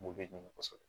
N b'o de ɲini kosɛbɛ